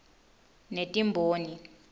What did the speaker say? netimboni